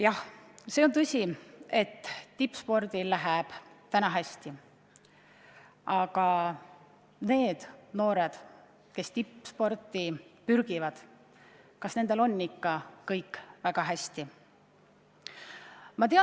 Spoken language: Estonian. Jah, see on tõsi, et tippspordil läheb üsna hästi, aga kas nendel noortel, kes tippsporti pürgivad, on ikka kõik väga hästi?